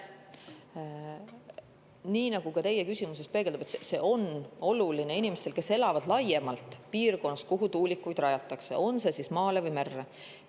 Nii nagu ka teie küsimuses peegeldub, on inimestele, kes elavad piirkonnas, oluline, kuhu tuulikuid rajatakse, on see siis maale või merre.